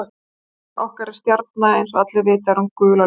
Sólin okkar er stjarna og eins og allir vita er hún gul á lit.